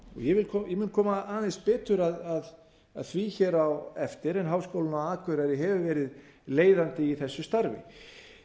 ég mun koma aðeins betur að því hér á eftir en háskólinn á akureyri hefur verið leiðandi í þessu starfi